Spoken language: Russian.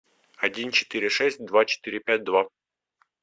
один четыре шесть два четыре пять два